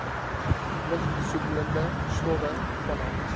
lugbesoedelende stowwe vanaf